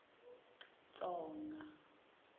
tsonga